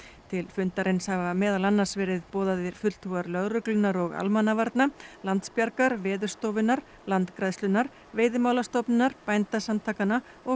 til fundarins hafa meðal annars verið boðaðir fulltrúar lögreglunnar og almannavarna Landsbjargar Veðurstofunnar Landgræðslunnar Veiðimálastofnunar Bændasamtakanna og